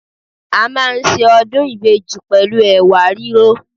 A máa ń ṣe ọdún ìbejì pẹ̀lú Ẹ̀wà rírò.